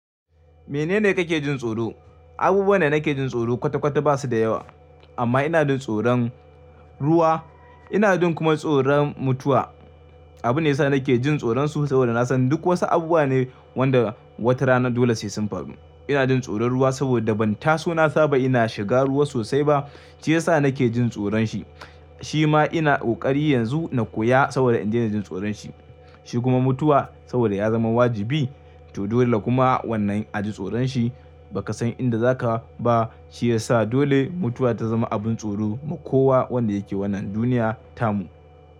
Menene kake jin tsoro? Abubuwa ne nake jin tsoro kwata-kwata ba su da yawa. Amma ina jin tsoron ruwa, ina jin kuma tsoron mutuwa. Abu ne yasa nake jin tsoron su saboda na san duk wasu abubuwa ne wanda watarana dole sai sun faru. Ina jin tsoron ruwa saboda ban taso na saba ina shiga ruwa sosai ba, shi ya sa nake jin tsoron shi. Shi ma ina ƙoƙari yanzu na koya saboda in daina jin tsoron shi. Shi kuma mutuwa saboda ya zama wajibi to dole kuma wannan a ji tsoron shi. Baka san inda zaka ba shi ya sa dole mutuwa ta zama abin tsoro ma kowa wanda yake wannan duniya tamu.